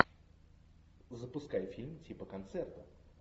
запускай фильм типа концерта